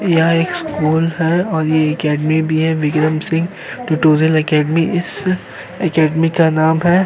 यह एक स्कूल है और यह अकादमी भी है। Vikram Singh tutorial academy. इस अकादमी का नाम है।